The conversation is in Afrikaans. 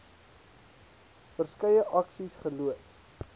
verskeie aksies geloods